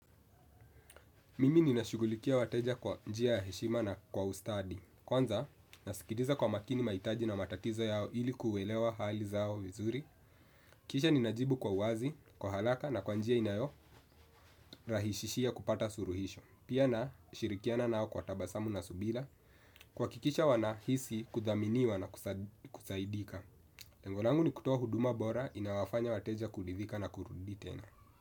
Mimi ninashugulikia wateja kwa njia ya heshima na kwa ustadi. Kwanza nasikitiza kwa makini maitaji na matatizo yao ili kuelewa hali zao vizuri. Kisha ninajibu kwa uwazi, kwa halaka na kwa njia inayorahishishia kupata suluhisho. Pia nashirikiana nao kwa tabasamu na subila. Kuakikisha wanahisi kudhaminiwa na kusaidika lengo langu ni kutoa huduma bora inawafanya wateja kulidhika na kurudi tena.